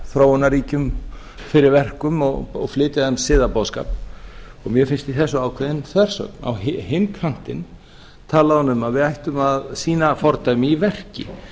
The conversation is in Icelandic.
þróunarríkjum fyrir verkum og flytja þeim siðaboðskap mér finnst í þessu ákveðin þversögn á hinn kantinn talaði hún um að við ættum að sýna fordæmi í verki